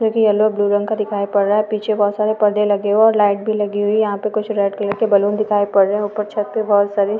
Yellow blue रंग का दिखाई पड़ रहा है। पीछे बहुत सारे परदे लगे है और लाइट भी लगी हुई है। यहा कुछ रेड कलर बलून दिखाई पड़ रहे है। उपर छत पर बहुत सारी --